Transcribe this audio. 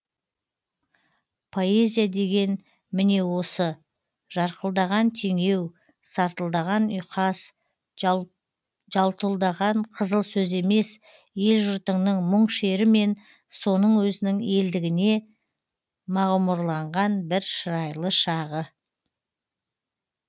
поэзия деген міне осы жарқылдаған теңеу сартылдаған ұйқас жалтұлдаған қызыл сөз емес ел жұртыңның мұң шері мен соның өзінің елдігіне мағұмұрланған бір шырайлы шағы